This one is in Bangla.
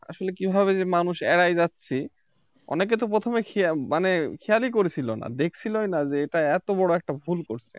আসলে কিভাবে যে মানুষ এরাই যাচ্ছে অনেকে তো প্রথমে মানে খেয়ালই করছিল না দেখছিলই না যেটা এত বড় একটা ভুল করছে